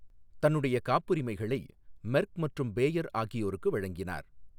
தன்னுடைய காப்புாிமைகளை மெர்க் மற்றும் பேயர் ஆகியாேருக்கு வழங்கினார்.